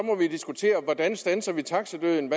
diskutere hvordan vi standser taxadøden